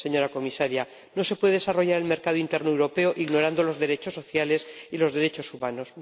Señora Comisaria, no se puede desarrollar el mercado interior europeo ignorando los derechos sociales y los derechos humanos.